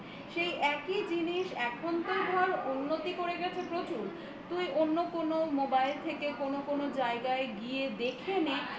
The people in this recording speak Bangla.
সেই একই জিনিস এখন তো ধর উন্নতি করে গেছে প্রচুর অন্য কোন mobile থেকে কোন কোন জায়গায় গিয়ে দেখে নে